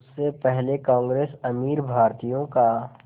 उससे पहले कांग्रेस अमीर भारतीयों का